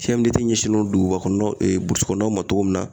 ɲɛsinnen don duguba kɔnɔna kɔnɔnaw ma togo min na